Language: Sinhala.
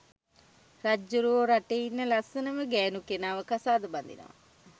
රජ්ජුරුවෝ රටේ ඉන්න ලස්සනම ගැනු කෙනාව කසාද බදිනවා